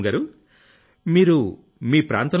పూనమ్ గారూ మీరు మీ ప్రాంతంలో